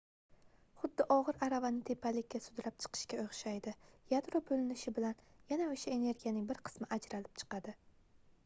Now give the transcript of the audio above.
xuddi ogʻir aravani tepalikka sudrab chiqishga oʻxshaydi yadro boʻlinishi bilan yana oʻsha energiyaning bir qismi ajralib chiqadi